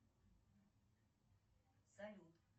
салют